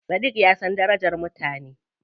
Sadiq ya san darajar mutane.